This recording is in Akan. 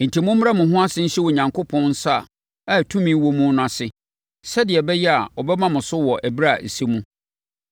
Enti mommrɛ mo ho ase nhyɛ Onyankopɔn nsa a tumi wɔ mu no ase sɛdeɛ ɛbɛyɛ a ɔbɛma mo so wɔ ɛberɛ a ɛsɛ mu.